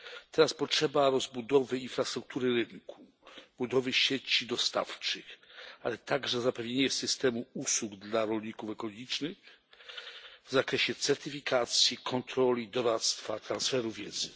Teraz potrzeba rozbudowy infrastruktury rynku, budowy sieci dostawczych, ale także zapewnienia systemu usług dla rolników ekologicznych w zakresie certyfikacji, kontroli, doradztwa, transferu wiedzy.